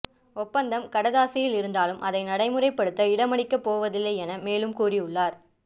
ஒப்பந்தம் கடதாசியில் இருந்தாலும் அதனை நடைமுறைப்படுத்த இடமளிக்கப்போவதில்லை எனவும் மேலும் கூறியுள்ளார்